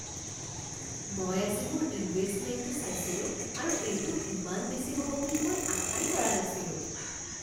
মই আজি মোৰ ইনভেষ্টমেণ্টটো চাইছিলোঁ আৰু এইটো ইমান বেছি হ'ব বুলি মই আশাই কৰা নাছিলোঁ